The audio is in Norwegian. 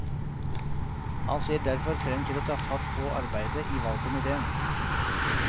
Han ser derfor frem til å ta fatt på arbeidet i valgkomitéen.